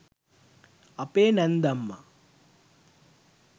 අපේ නැන්දම්ම